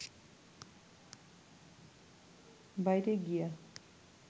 বাইরে গিয়া